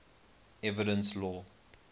evidence law